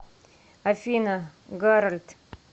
афина гарольд